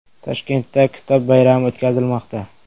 Toshkentda Kitob bayrami o‘tkazilmoqda .